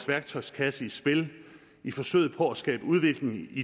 værktøjskasse i spil i forsøget på at skabe udvikling i